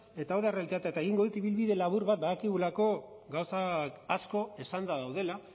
eta hau da errealitatea eta egingo dut ibilbide labur bat badakigulako gauzak asko esanda daudela